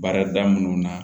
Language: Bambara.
Baarada minnu na